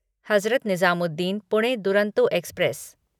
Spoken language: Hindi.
हज़रत निजामुद्दीन पुणे दुरंतो एक्सप्रेस